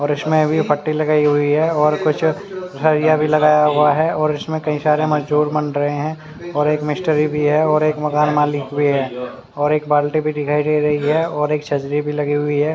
और इसमें अभी पटी लगाई हुई है और कुछ सरिया भी लगाया हुआ है और इसमें कई सारे मजदुर बन रहे है और एक मिस्त्री भी है और एक मकान मालिक भी है और एक बाल्टी भी दिखाई दे रही है और छजरी भी लगी हुई है।